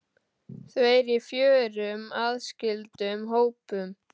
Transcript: Þau eru í fjórum aðskildum hópum.